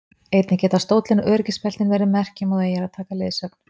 Einnig geta stóllinn og öryggisbeltin verið merki um að þú eigir að taka leiðsögn.